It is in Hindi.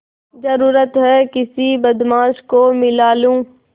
जरुरत हैं किसी बदमाश को मिला लूँ